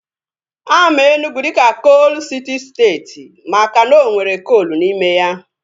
Ama Enugwu dịka koolu siti steeti makana o nwere koolu n'ime ya